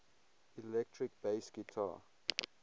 electric bass guitar